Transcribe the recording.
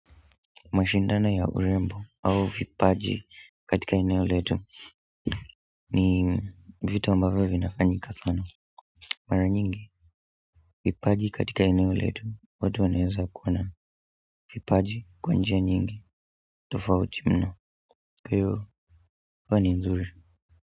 Mashindana ya urembo au vipaji katika eneo letu ni vitu ambavyo vinafanyika sana mara nyingi vipaji katika eneo letu watu wanaeza kuwa na vipaji kwa njia nyingi tofauti mno. Juu huwa ni nzuri.